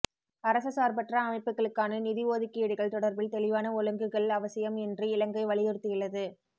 அரச சார்பற்ற அமைப்புக்களுக்கான நிதி ஒதுக்கீடுகள் தொடர்பில் தெளிவான ஓழுங்குகள் அவசியம் என்று இலங்கை வலியுறுத்தியுள்ளது